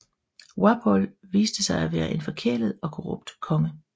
Wapol viste sig at være en forkælet og korrupt konge